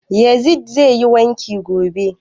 Yazid zai yi wanki gobe